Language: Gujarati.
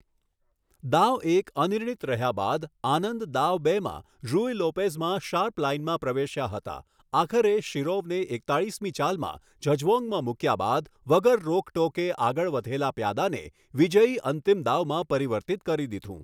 દાવ એક અનિર્ણિત રહ્યા બાદ, આનંદ દાવ બેમાં રૂય લોપેઝમાં શાર્પ લાઇનમાં પ્રવેશ્યા હતા, આખરે, શિરોવને એકતાલીસમી ચાલમાં ઝગઝ્વૉંગમાં મૂક્યા બાદ વગર રોક ટોકે આગળ વધેલા પ્યાદાને વિજયી અંતિમ દાવમાં પરિવર્તિત કરી દીધું.